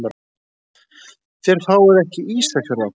Þér fáið ekki Ísafjörð aftur.